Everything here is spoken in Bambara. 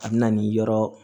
A bɛ na ni yɔrɔ